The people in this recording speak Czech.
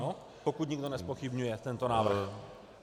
Ano, pokud nikdo nezpochybňuje tento návrh.